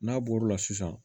N'a bɔr'o la sisan